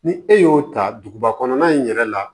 Ni e y'o ta duguba kɔnɔna in yɛrɛ la